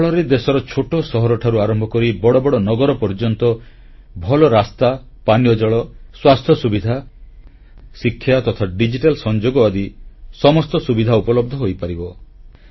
ଏହାଫଳରେ ଦେଶର ଛୋଟ ସହରଠାରୁ ଆରମ୍ଭ କରି ବଡ଼ ବଡ଼ ନଗର ପର୍ଯ୍ୟନ୍ତ ଭଲ ରାସ୍ତା ପାନୀୟ ଜଳ ସ୍ୱାସ୍ଥ୍ୟ ସୁବିଧା ଶିକ୍ଷା ତଥା ଡିଜିଟାଲ ସଂଯୋଗ ଆଦି ସମସ୍ତ ସୁବିଧା ଉପଲବ୍ଧ ହୋଇପାରିବ